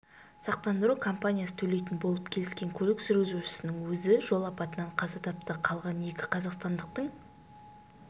сақтандыру компаниясы төлейтін болып келіскен көлік жүргізушісінің өзі жол апатынан қаза тапты қалған екі қазақстандықтың